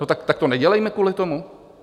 No tak to nedělejme kvůli tomu?